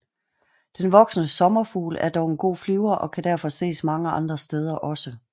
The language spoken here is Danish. Den voksne sommerfugl er dog en god flyver og kan derfor ses mange andre steder også